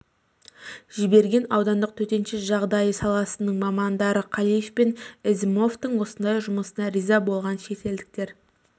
жіберген аудандық төтенше жағдай саласының мамандары қалиев пен ізімовтің осындай жұмысына риза болған шет елдіктер